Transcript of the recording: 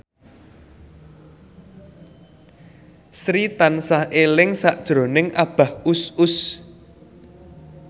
Sri tansah eling sakjroning Abah Us Us